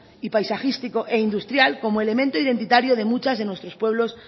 y paisajístico e industrial como elemento identitario de muchos de nuestros pueblos